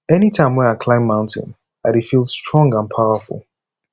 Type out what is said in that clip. anytime wey i climb mountain i dey feel strong and powerful